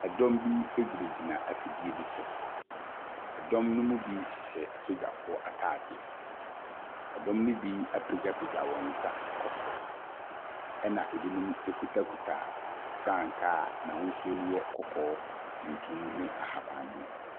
Ɛdɔm bi gyinagyina afidie bi so. Ɛdɔm ne bi hyɛ asogyafoɔ ntaadeɛ. Ɛdɔm ne bi apagyapagya wɔn bsa kɔ soro, na binom kitakita frankaa n’ahosuo no yɛ kɔkɔɔ, tuntum ne ahabanmono.